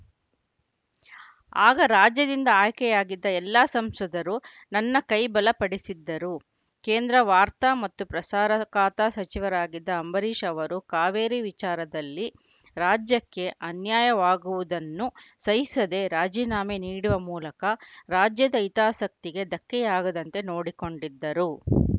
ಆಗ ರಾಜ್ಯದಿಂದ ಆಯ್ಕೆಯಾಗಿದ್ದ ಎಲ್ಲ ಸಂಸದರು ನನ್ನ ಕೈ ಬಲ ಪಡಿಸಿದ್ದರು ಕೇಂದ್ರ ವಾರ್ತಾ ಮತ್ತು ಪ್ರಸಾರ ಖಾತೆ ಸಚಿವರಾಗಿದ್ದ ಅಂಬರೀಷ್‌ ಅವರು ಕಾವೇರಿ ವಿಚಾರದಲ್ಲಿ ರಾಜ್ಯಕ್ಕೆ ಅನ್ಯಾಯವಾಗುವುದನ್ನು ಸಹಿಸದೆ ರಾಜೀನಾಮೆ ನೀಡುವ ಮೂಲಕ ರಾಜ್ಯದ ಹಿತಾಸಕ್ತಿಗೆ ಧಕ್ಕೆಯಾಗದಂತೆ ನೋಡಿಕೊಂಡಿದ್ದರು